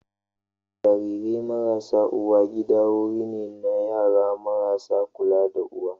Jarirai marasa uwa gida wuri ne na yara marasa kula da uwa.